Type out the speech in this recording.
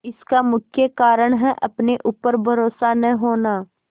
इसका मुख्य कारण है अपने ऊपर भरोसा न होना